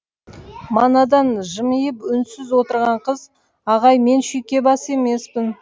манадан жымиып үнсіз отырған қыз ағай мен шүйкебас емеспін